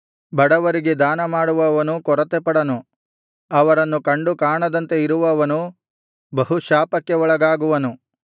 ಬಡವರಿಗೆ ದಾನಮಾಡುವವನು ಕೊರತೆಪಡನು ಅವರನ್ನು ಕಂಡು ಕಾಣದಂತೆ ಇರುವವನು ಬಹುಶಾಪಕ್ಕೆ ಒಳಗಾಗುವನು